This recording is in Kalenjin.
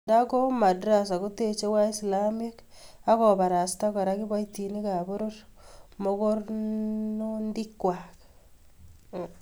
Ndako madrassa kotechi waislamiek akobarasta Kora kiboitinikab poror mogornondingwai